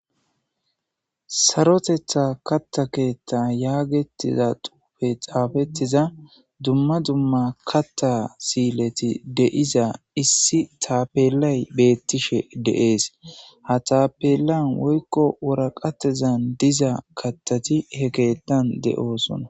sarotetha katta keethta yaagetiza xuufe xaafettiza dumma dumma katta siileti deiza issi tapelay beettishe dee'es ha taapelan woykko wuraqatezan diza kattati he keetan de'oosona